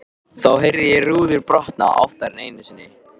Þá heyrði ég rúður brotna, oftar en einu sinni.